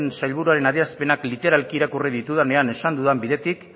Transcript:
sailburuaren adierazpena literalki irakurri ditudanean esan dudan bidetik